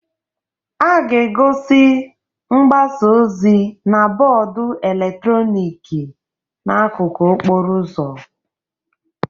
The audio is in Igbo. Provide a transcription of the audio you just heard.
A ga-egosi mgbasa ozi na bọọdụ eletrọnịkị n'akụkụ okporo ụzọ